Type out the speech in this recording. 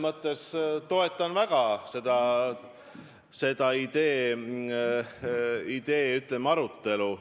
Mina toetan väga selle idee, ütleme, arutelu.